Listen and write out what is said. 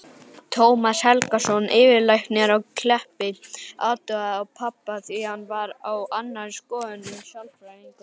Tómas Helgason, yfirlæknir á Kleppi, athugaði pabba líka en var á annarri skoðun en sálfræðingurinn.